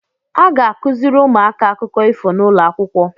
A ga-akụzịrị ụmụaka akụkọ ifo n’ụlọakwụkwọ